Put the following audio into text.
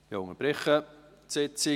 Ich unterbreche die Sitzung.